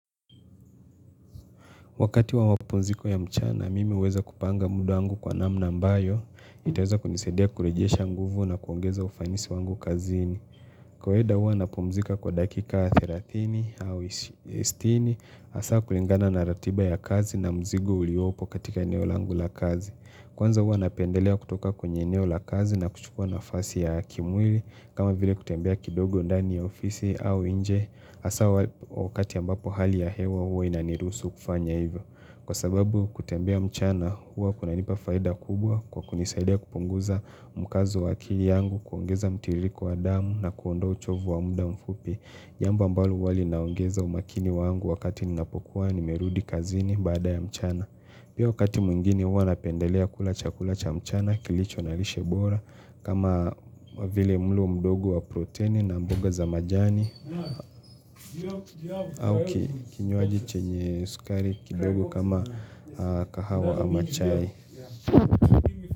Wakati wa wa mapumziko ya mchana, mimi huweza kupanga muda wangu kwa namna ambayo itaweza kunisaidia kurejesha nguvu na kuongeza ufanisi wangu kazini. Kwa kawaida hua napumzika kwa dakika 30 au 60, hasa kulingana na ratiba ya kazi na mzigo uliopo katika eneo langu la kazi. Kwanza hua napendelea kutoka kwenye eneo la kazi na kuchukua nafasi ya kimwili, kama vile kutembea kidogo ndani ya ofisi au nje. Hasa wakati ambapo hali ya hewa huwa inaniruhusu kufanya hivyo. Kwa sababu kutembea mchana huwa kunanipa faida kubwa kwa kunisaidia kupunguza mkazo wa akili yangu, kuongeza mtiririko wa damu na kuondoa uchovu wa muda mfupi. Jambo ambalo huwa linaongeza umakini wangu wakati ninapokuwa nimerudi kazini baada ya mchana. Pia wakati mwingine huwa napendelea kula chakula cha mchana kilicho na lishebora kama vile mlo mdogo wa protini na mboga za majani. Au kinywaji chenye sukari kidogo kama kahawa ama chai.